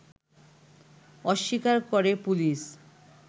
অস্বীকার করে পুলিশ